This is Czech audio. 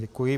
Děkuji.